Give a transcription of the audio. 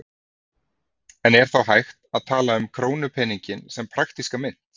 En er þá hægt að tala um krónupeninginn sem praktíska mynt?